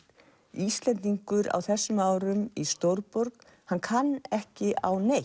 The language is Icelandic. Íslendingur á þessum árum í stórborg hann kann ekki á neitt